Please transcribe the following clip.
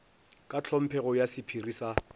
ka tlhomphego ya sephiri sa